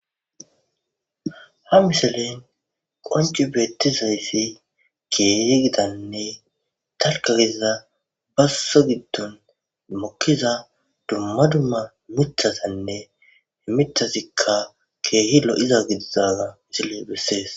ha miselen qonci beettizayssi keyegidanne talkageza basso giddon mokkiza dumma dumma mithasanne emitazikka keehilo iza gidizana isile bessees